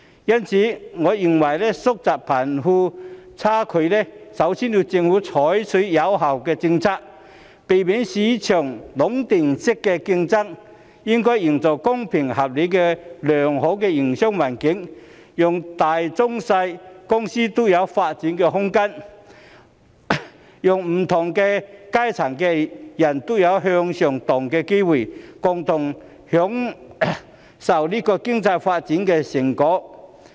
因此，我認為要縮窄貧富差距，首先要由政府採取有效政策，避免市場出現壟斷式競爭，並應營造公平合理的良好營商環境，讓大中小型公司均有發展空間，讓不同階層的人都有向上流動的機會，共同享受經濟發展的成果。